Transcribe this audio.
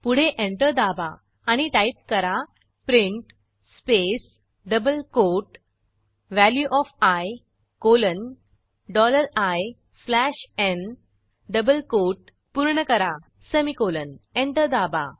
पुढे एंटर दाबा आणि टाईप करा print space double quote value of I colon dollar I slash n double quote पूर्ण करा सेमिकोलॉन एंटर दाबा